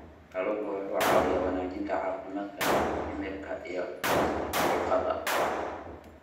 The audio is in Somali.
Kalluunku waxa uu caawiyaa wanaajinta caafimaadka dhimirka iyo dhimista diiqada.